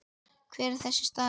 Hver er þessi staður?